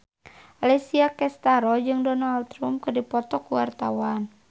Alessia Cestaro jeung Donald Trump keur dipoto ku wartawan